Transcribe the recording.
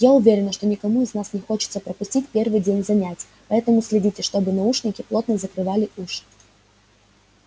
я уверена что никому из вас не хочется пропустить первый день занятий поэтому следите чтобы наушники плотно закрывали уши